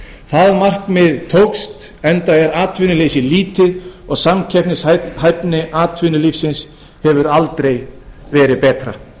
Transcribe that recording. það markmið tókst enda er atvinnuleysi lítið og samkeppnishæfni atvinnulífsins hefur aldrei verið betra